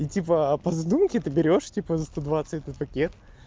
и типа а по задумке ты берёшь типа за сто двадцать этот пакет